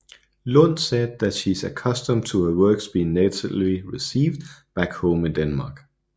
Lund said that she is accustomed to her works being negatively received back home in Denmark